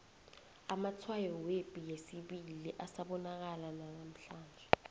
amatshwayo yepi yesibili asabonakala nanamhlanje